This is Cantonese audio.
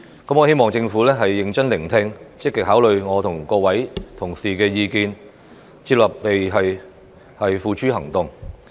我希望政府認真聆聽，積極考慮我和各位同事的意見，接納並付諸行動。